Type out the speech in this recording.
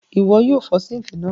Ìwo yio fo sink náà